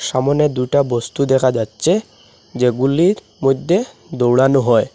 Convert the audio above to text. সামোনে দুটা বস্তু দেখা যাচ্ছে যেগুলির মধ্যে দৌড়ানো হয়।